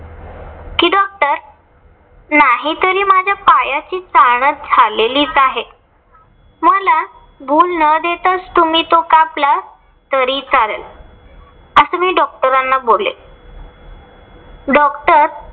त्या पायाची चाळण झालेलीच आहे. मला भूल न देताच तुम्ही तो कापला तरी चालेल. अस मी doctor ना बोलले. doctor